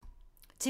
TV 2